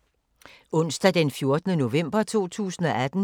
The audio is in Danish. Onsdag d. 14. november 2018